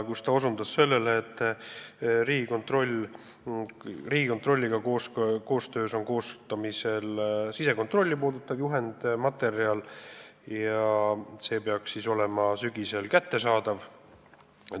Ta osutas sellele, et Riigikontrolliga koostöös koostatakse sisekontrolli juhendmaterjali, mis peaks olema sügisel kättesaadav.